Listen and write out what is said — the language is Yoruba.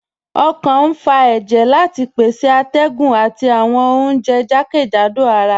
Ọkàn n fà èjẹ̀ láti pèsè àtẹ̀gùn àti awọn ọ̀unjẹ̀ jàkẹ́jádò àrà